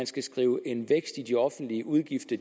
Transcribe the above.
skal skrive en vækst i de offentlige udgifter